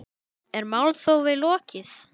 Er málþófi lokið?